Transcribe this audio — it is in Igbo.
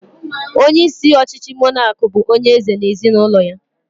Onyeisi ọchịchị mọnaki bụ onyeeze na ezinụlọ ya